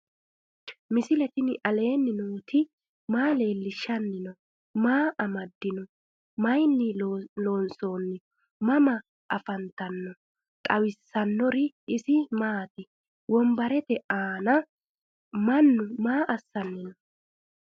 misile tini alenni nooti maa leelishanni noo? maa amadinno? Maayinni loonisoonni? mama affanttanno? xawisanori isi maati? wonbaaratte aanna mannu maa assani noo?